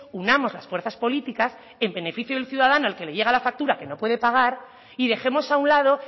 unamos las fuerzas políticas en beneficio del ciudadano al que le llega la factura que no puede pagar y dejemos a un lado